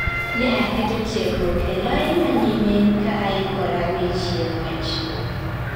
Ne aketo tiegruok ee lai manyime ka aikora ne chieng' ng'wech